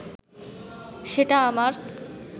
সেটা আমার